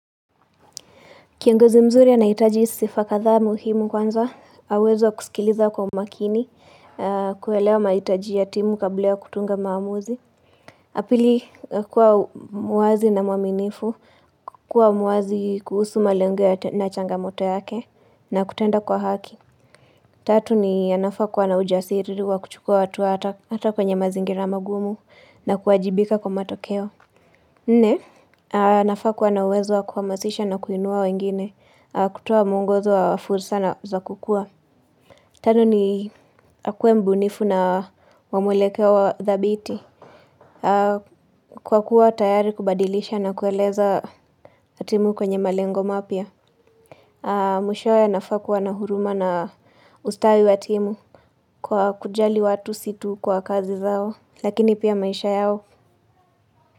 Kiangozi mzuri anahitaji sifa kadhaa muhimu kwanza, aweze kusikiliza kwa umakini, kuelewa mahitaji ya timu kabla ya kutunga maamuzi. Pili kuwa muwazi na mwaminifu, kuwa muwazi kuhusu malengo na changamoto yake na kutenda kwa haki. Tatu ni anafaa kua na ujasiri wa kuchukua watu hata kwenye mazingira magumu na kuwajibika kwa matokeo. Nne, anafaa kua na uwezo wa kuhamasisha na kuinua wengine, kutoa muongozo wa fursa na za kukua. Tano ni, akue mbunifu na wamwelekeo thabiti. Kwa kuwa tayari kubadilisha na kueleza timu kwenye malengo mapya. Mwishoe anafaa kua na huruma na ustawi wa timu kwa kujali watu si tu kwa kazi zao, lakini pia maisha yao.